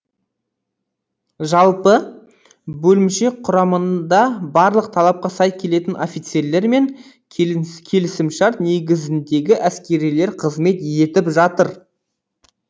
жалпы бөлімше құрамында барлық талапқа сай келетін офицерлер мен келісімшарт негізіндегі әскерилер қызмет етіп жатыр